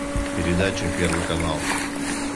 передача первый канал